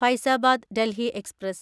Faizabad Delhi express